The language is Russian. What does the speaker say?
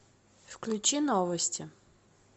включи новости